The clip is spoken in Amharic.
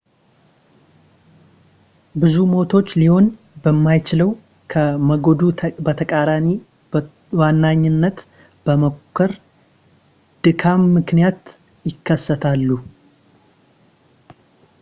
ብዙ ሞቶች ሊሆን በማይችለው ከሞገዱ በተቃራኒ ለመዋኘት በመሞከር ድካም ምክንያት ይከሰታሉ